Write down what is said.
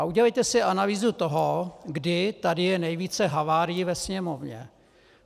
A udělejte si analýzu toho, kdy tady je nejvíce havárií ve Sněmovně.